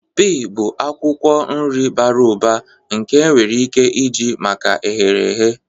Pee bụ akwukwo nri bara ụba nke enwere ike iji maka eherehe.